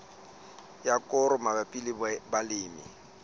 ya koro mabapi le balemi